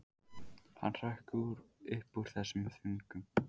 Hann hrökk upp úr þessum þönkum.